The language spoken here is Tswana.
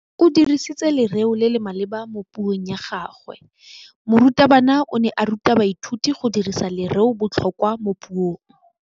O dirisitse lerêo le le maleba mo puông ya gagwe. Morutabana o ne a ruta baithuti go dirisa lêrêôbotlhôkwa mo puong.